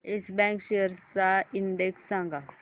yes Bank shares चा index सांगा